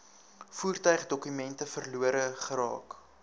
voertuigdokumente verlore geraak